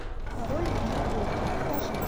король в нью йорке покажи